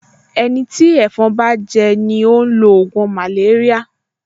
Ẹni tí ẹ̀fọn bá gé jẹ ni ó ń lo ògùn màléríà